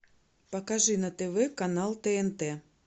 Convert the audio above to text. покажи на тв канал тнт